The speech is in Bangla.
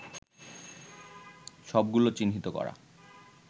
সবগুলো চিহ্নিত করা